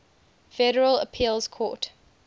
federal appeals court